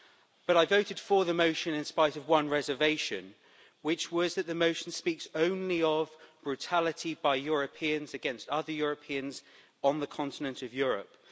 But I voted for the motion in spite of one reservation, which was that the motion speaks only of brutality by Europeans against other Europeans on the continent of Europe.